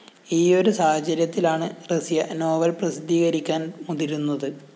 ഈയൊരു സാഹചര്യത്തിലാണ് റസിയ നോവല്‍ പ്രസിദ്ധീകരിക്കാന്‍ മുതിരുന്നത്